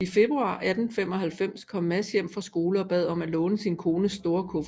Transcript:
I februar 1895 kom Mads hjem fra skole og bad om at låne sin kones store kuffert